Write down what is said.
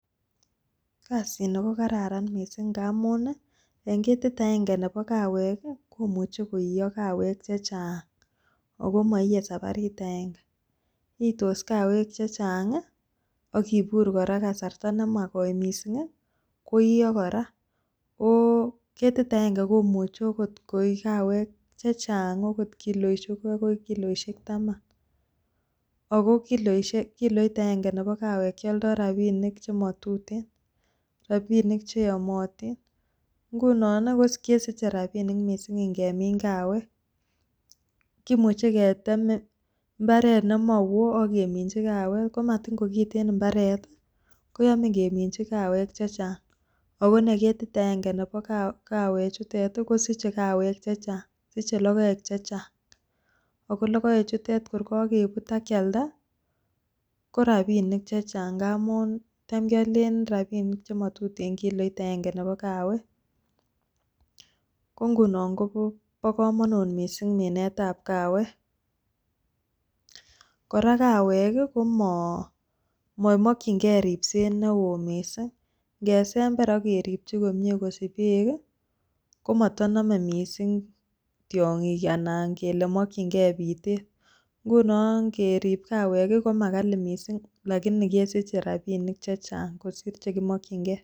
Kasini ko kararan missing ngamun I en ketit agenge Nebo kaawek i,komoche koiyoo kaweek chechang ako movie sabarit agenge. Iytos kaweek chechang i,ak kibuur kora kasartaa nemakoi missing I,koiyoo kora oko ketit agenge komuche okot koi kaweek chechang akoi kiloisiek Taman, ako kilo it agange nebo kaawek kioldoo rabinik chemotuten. Rabinik chromatin, ngunon kesiche rabinik missing ingemin kaawek, kimuche ketem mbaret nemowoo ak keminyii kaawek ko matin kokiten imbaret i,koyome keminyii kaweek chechang ako nekitit agenge nebo kaawechitet kosiche kaawek chechang, siche logoek chechang, ako logoechutet tor kokebut ak kialdaa korabini k chechang ngamun tam Killeen rabinik chemotuten kiloit agenge Nebo kaawek, ko ingunon bo komonut missing minsetab kaawek. Kora kaaawek I komomokyingei ribset neo missing, ingesember ak kerikyii komie kosich beek komotonome missing tiongiik anan ngele mokyingei biter, ngunon keerib kaawek komakali missing lakini kesiche rabinik chechang kosiir chekimokyingei